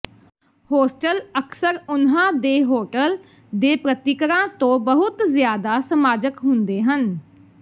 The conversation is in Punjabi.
ਹੋਸਟਲ ਅਕਸਰ ਉਨ੍ਹਾਂ ਦੇ ਹੋਟਲ ਦੇ ਪ੍ਰਤੀਕਰਾਂ ਤੋਂ ਬਹੁਤ ਜ਼ਿਆਦਾ ਸਮਾਜਕ ਹੁੰਦੇ ਹਨ